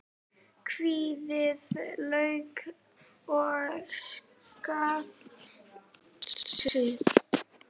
Afhýðið lauk og saxið smátt.